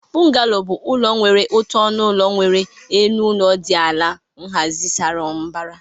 Bungalows bụ ụlọ nwere otu ọnụ ụlọ nwere elu ụlọ dị ala na nhazi sara mbara